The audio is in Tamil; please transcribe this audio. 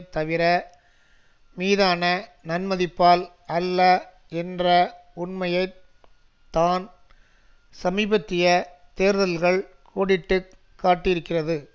தவிர மீதான நன்மதிப்பால் அல்ல என்ற உண்மையை தான் சமீபத்திய தேர்தல்கள் கோடிட்டு காட்டியிருக்கிறது